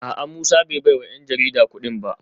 A’a Musa bai baiwa ‘yan jarida kudin ba